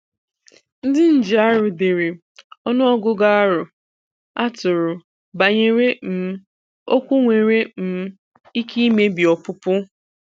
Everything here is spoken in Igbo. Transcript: Ndị nji arụ dere ọnụ ọgụgụ aro atụrụ banyere um okwu nwere um ike imebi ọpụpụ.